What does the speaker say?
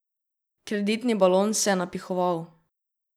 Kreditni balon se je napihoval.